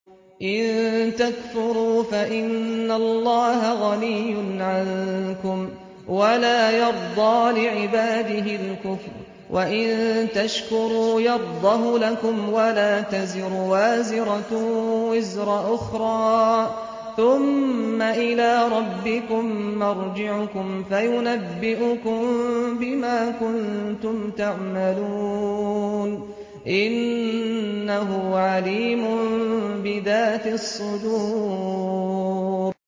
إِن تَكْفُرُوا فَإِنَّ اللَّهَ غَنِيٌّ عَنكُمْ ۖ وَلَا يَرْضَىٰ لِعِبَادِهِ الْكُفْرَ ۖ وَإِن تَشْكُرُوا يَرْضَهُ لَكُمْ ۗ وَلَا تَزِرُ وَازِرَةٌ وِزْرَ أُخْرَىٰ ۗ ثُمَّ إِلَىٰ رَبِّكُم مَّرْجِعُكُمْ فَيُنَبِّئُكُم بِمَا كُنتُمْ تَعْمَلُونَ ۚ إِنَّهُ عَلِيمٌ بِذَاتِ الصُّدُورِ